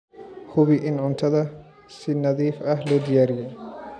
Hubi in cuntada si nadiif ah loo diyaariyey.